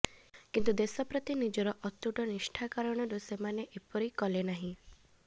କିନ୍ତୁ ଦେଶ ପ୍ରତି ନିଜର ଅତୁଟ ନିଷ୍ଠା କାରଣରୁ ସେମାନେ ଏପରି କଲେ ନାହିଁ